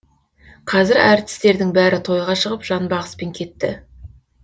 қазір әртістердің бәрі тойға шығып жанбағыспен кетті